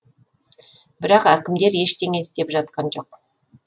бірақ әкімдер ештеңе істеп жатқан жоқ